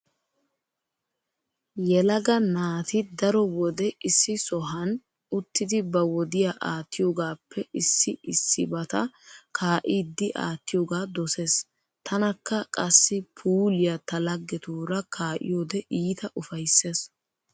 Yelaga naati daro wode issi sohan uttidi ba wodiya aattiyogaappe issi issibata kaa'iiddi aattiyogaa dosees. Tanakka qassi puuliya ta laggetuura kaa'iyode iita ufayssees.